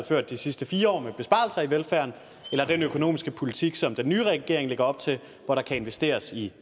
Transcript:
ført de sidste fire år med besparelser i velfærden eller den økonomiske politik som den nye regering lægger op til hvor der kan investeres i